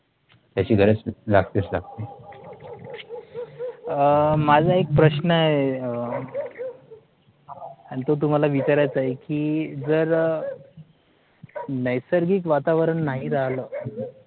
त्याची गरज लागतेच लागते अं माझा एक प्रश्न आहे आणि तो तुम्हाला विचारायचं आहे एक कि जर नैसर्गिक वातावरण नाही राहील